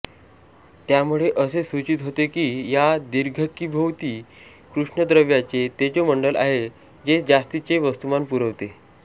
त्यामुळे असे सूचित होते की या दीर्घिकेभोवती कृष्णद्रव्याचे तेजोमंडल आहे जे जास्तीचे वस्तुमान पुरवते